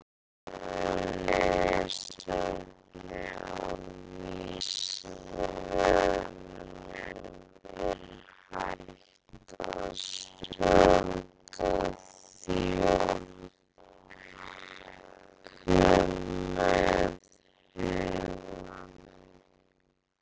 Frekara lesefni á Vísindavefnum Er hægt að stjórna þjörkum með huganum?